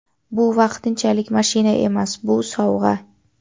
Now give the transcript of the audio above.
Bu vaqtinchalik mashina emas – bu sovg‘a.